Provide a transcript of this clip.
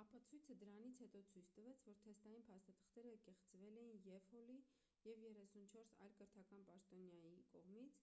ապացույցը դրանից հետո ցույց տվեց որ թեստային փաստաթղթերը կեղծվել էին և հոլի և 34 այլ կրթական պաշտոնյայի կողմից